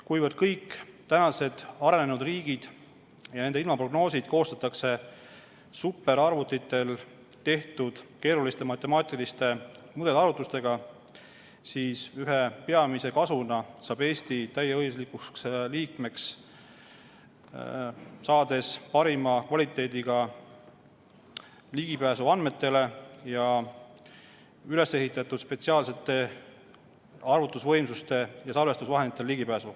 Kuna kõigis arenenud riikides koostatakse ilmaprognoosid superarvutitel tehtud keeruliste matemaatiliste mudelarvutustega, siis ühe peamise kasuna saab Eesti täieõiguslikuks liikmeks saades ligipääsu parima kvaliteediga andmetele ja spetsiaalsetele arvutusvõimsustele ja salvestusvahenditele.